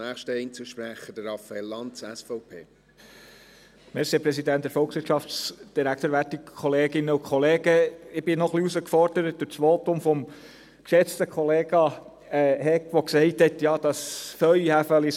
Ich wurde durch das Votum des geschätzten Kollegen Hegg herausgefordert, der gesagt hat, «eine Hand wäscht die andere».